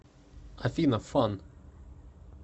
афина фан